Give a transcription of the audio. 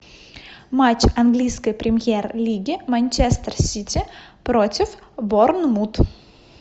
матч английской премьер лиги манчестер сити против борнмут